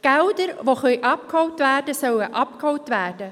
Gelder, die abgeholt werden können, sollen abgeholt werden.